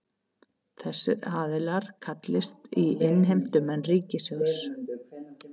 Þessir aðilar kallist innheimtumenn ríkissjóðs